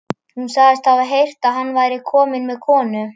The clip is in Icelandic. Hún sagðist hafa heyrt að hann væri kominn með konu.